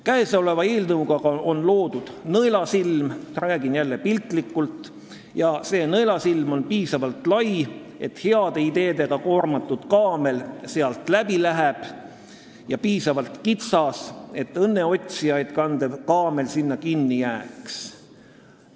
Käesoleva eelnõuga on loodud nõelasilm – räägin jälle piltlikult – ja see nõelasilm on piisavalt lai, et heade ideedega koormatud kaamel sealt läbi läheks, aga piisavalt kitsas, et õnneotsijaid kandev kaamel sinna kinni jääks.